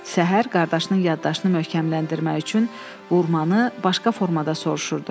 Səhər qardaşının yaddaşını möhkəmləndirmək üçün vurmanı başqa formada soruşurdu.